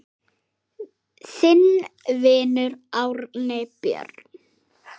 Þinn vinur, Árni Björn.